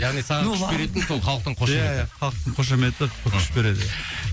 яғни саған күш беретін сол халықтың қошеметі ия ия халықтың қошеметі күш береді